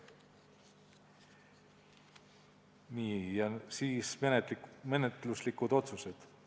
Nii, nüüd menetluslikud otsused.